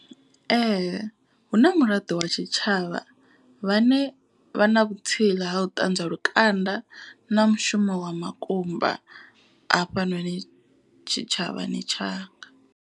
Ee hu na muraḓo wa tshitshavha vhane vha na vhutsila ha u ṱanzwa lukanda. Na mushumo wa makumba afhanoni tshitshavhani tshanga.